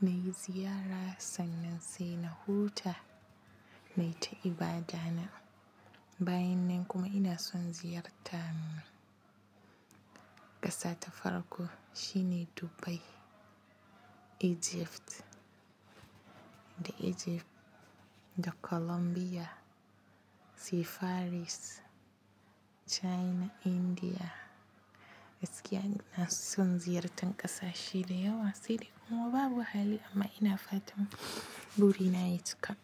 na yi ziyara sannan sai na huta na yi ta ibada na. Bayan nan kuma ina son ziyarta ƙasa ta farko shine Dubai, Egypt da Colombia, sai Paris, China, India. Gaskiya ina son ziyartan ƙasashe da yawa sai dai kuma babu hali amma ina fatan buri na ya cika.